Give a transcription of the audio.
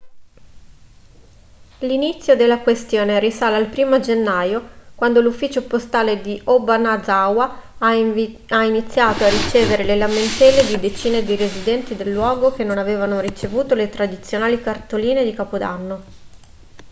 l'inzio della questione risale al 1° gennaio quando l'ufficio postale di obanazawa ha iniziato a ricevere le lamentele di decine di residenti del luogo che non avevano ricevuto le tradizionali cartoline di capodanno